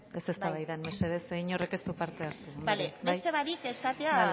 ez eztabaidan mesedez inork ez du parte hartzen bale beste barik esatea